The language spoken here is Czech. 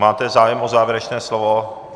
Máte zájem o závěrečné slovo?